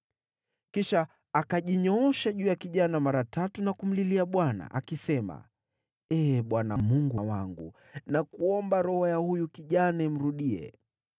Kisha akajinyoosha juu ya kijana mara tatu na kumlilia Bwana , akisema, “Ee Bwana Mungu wangu, nakuomba roho ya huyu kijana imrudie!”